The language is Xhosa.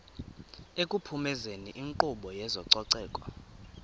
ekuphumezeni inkqubo yezococeko